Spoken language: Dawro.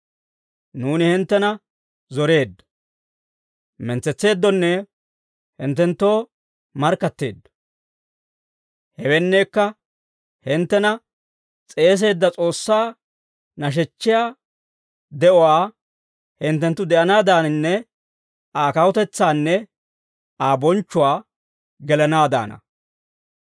Nuuni hinttena zoreeddo; mentsetseeddonne hinttenttoo markkatteeddo. Hewenneekka hinttena s'eeseedda S'oossaa nashechchiyaa de'uwaa hinttenttu de'anaadananne Aa kawutetsaanne Aa bonchchuwaa gelanaaddaana.